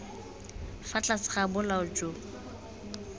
fa tlase ga bolao jo